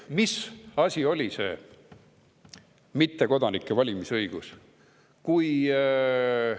Mis asi on tegelikult mittekodanike valimisõigus?